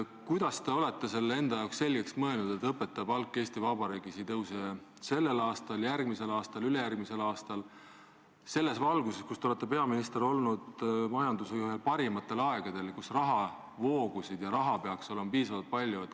Kuidas te olete selle enda jaoks selgeks mõelnud, et õpetaja palk Eesti Vabariigis ei tõuse sellel aastal, järgmisel aastal ega ka ülejärgmisel aastal, kuigi te olete peaminister olnud majanduse jaoks ühtedel parimatel aegadel, kus rahavoogusid on ja raha peaks olema piisavalt palju?